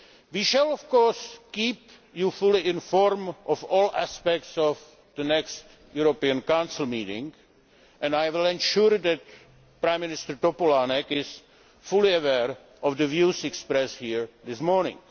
We shall, of course, keep you fully informed of all aspects of the next European Council meeting, and I will ensure that Prime Minister Topolánek is fully aware of the views expressed here this morning.